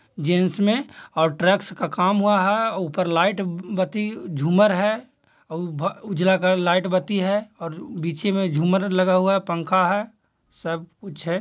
Gents मे और tracks का काम हुआ है ऊपर लाइट बत्ती झूमर है और उ_ भ उजला लाइट बत्ती है और बीचे मे झूमर लगा हुआ है पंखा है सब कुछ है।